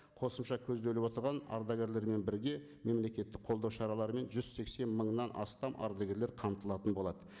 қосымша көзделіп отырған ардагерлермен бірге мемлекеттік қолдау шараларымен жүз сексен мыңнан астам ардагерлер қамтылатын болады